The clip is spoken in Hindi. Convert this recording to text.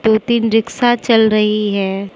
दो तीन रिक्शा चल रही है।